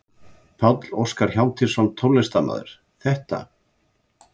Páll Óskar Hjálmtýsson, tónlistarmaður: Þetta?